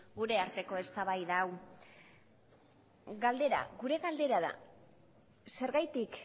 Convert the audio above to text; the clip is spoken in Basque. gure arteko eztabaida hau galdera gure galdera da zergatik